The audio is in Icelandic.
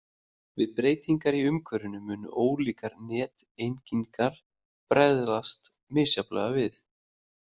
Við breytingar í umhverfinu munu ólíkar neteingingar bregðast misjafnlega við.